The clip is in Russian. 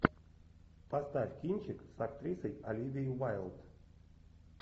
поставь кинчик с актрисой оливией уайлд